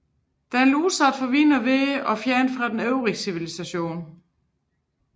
Den lå desuden udsat for vind og vejr og fjernt fra den øvrige civilisation